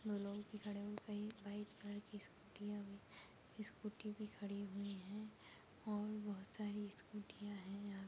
लोग भी खड़े हुए वही व्हाइट कलर की स्कुटियाँ भी स्कूटी भी खड़ी हुई है और बहुत सारी स्कुटियाँ है यहाँ--